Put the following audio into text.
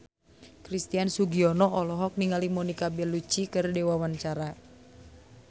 Christian Sugiono olohok ningali Monica Belluci keur diwawancara